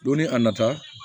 Don ni a nata